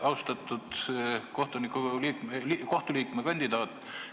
Austatud Riigikohtu liikme kandidaat!